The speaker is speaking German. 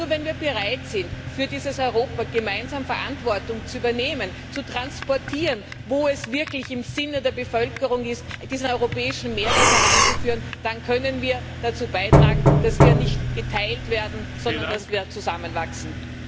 Denn nur wenn wir bereit sind, für dieses Europa gemeinsam Verantwortung zu übernehmen, zu transportieren, wo es wirklich im Sinne der Bevölkerung, ist diesen europäischen Mehrwert heranzuführen, dann können wir dazu beitragen, dass wir nicht geteilt werden, sondern dass wir zusammenwachsen.